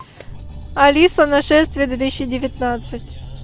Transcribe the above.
алиса нашествие две тысячи девятнадцать